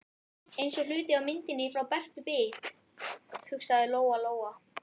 Eins og hluti af myndinni frá Bertu bit, hugsaði Lóa Lóa.